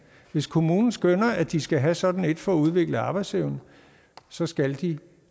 hvis kommunen skønner at de skal have sådan et for at udvikle arbejdsevne så skal de